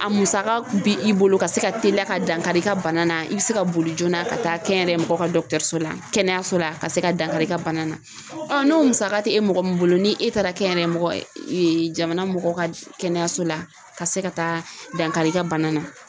A musaka kun bɛ i bolo ka se ka teliya ka dankari i ka bana na i bɛ se ka boli joona ka taa kɛnyɛrɛ ka dɔkɔtɔrɔso la kɛnɛyaso la a ka se ka dankari i ka bana na ɔ n'o musaka tɛ e mɔgɔ min bolo ni e taara kɛ mɔgɔ jamana mɔgɔ ka kɛnɛyaso la ka se ka taa dankari i ka bana na.